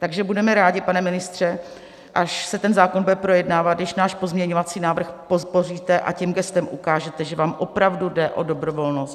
Takže budeme rádi, pane ministře, až se ten zákon bude projednávat, když náš pozměňovací návrh podpoříte a tím gestem ukážete, že vám opravdu jde o dobrovolnost.